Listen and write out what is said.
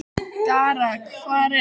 Dara, hvar er dótið mitt?